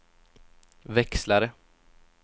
växlare